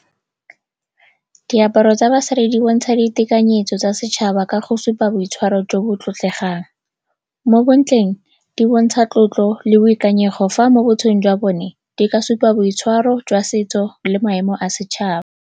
Diaparo tsa basadi di bontsha ditekanyetso tsa setšhaba ka go supa boitshwaro jo bo tlotlegang. Mo bontleng, di bontsha tlotlo le boikanyego, fa mo botshelong jwa bone di ka supa boitshwaro jwa setso le maemo a setšhaba.